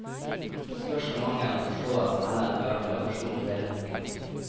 Så spørs det om mangelen på forståelse heller fører til aggresjon mot hele boken.